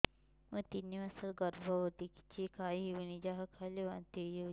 ମୁଁ ତିନି ମାସର ଗର୍ଭବତୀ କିଛି ଖାଇ ହେଉନି ଯାହା ଖାଇଲେ ବାନ୍ତି ହୋଇଯାଉଛି